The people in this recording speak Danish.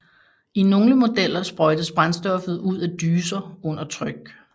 I nogle modeller sprøjtes brændstoffet ud af dyser under tryk